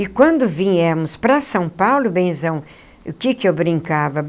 E quando viemos para São Paulo, benzão, o que que eu brincava?